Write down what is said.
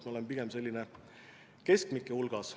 Selles me oleme pigem keskmike hulgas.